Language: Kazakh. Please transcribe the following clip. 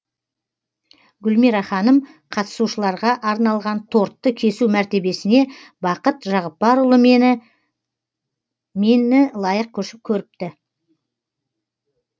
гүлмира ханым қатысушыларға арналған тортты кесу мәртебесіне бақыт жағыппарұлы мені лайық көріпті